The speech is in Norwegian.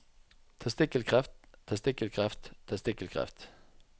testikkelkreft testikkelkreft testikkelkreft